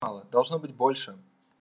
должно быть больше